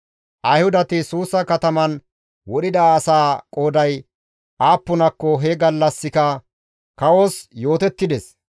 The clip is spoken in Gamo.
Ayhudati Suusa kataman wodhida asaa qooday aappunakko he gallassika kawos yootettides.